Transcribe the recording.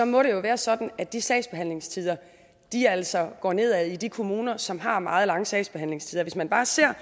må det jo være sådan at de sagsbehandlingstider altså går nedad i de kommuner som har meget lange sagsbehandlingstider hvis man bare ser